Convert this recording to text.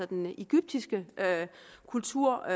den egyptiske kultur